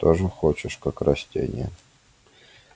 тоже хочешь как растение